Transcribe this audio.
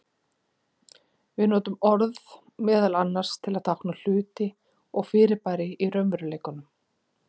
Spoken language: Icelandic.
Við notum orð meðal annars til að tákna hluti og fyrirbæri í raunveruleikanum.